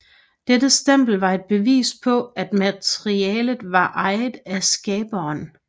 Dette stempel var et bevis på at materialet var ejet af skaberen